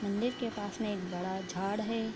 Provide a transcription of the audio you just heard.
मंदिर के पास में एक बड़ा झाड़ है।